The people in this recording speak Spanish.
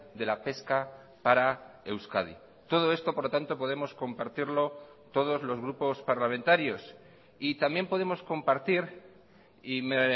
de la pesca para euskadi todo esto por lo tanto podemos compartirlo todos los grupos parlamentarios y también podemos compartir y me